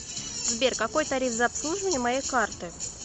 сбер какой тариф за обслуживание моей карты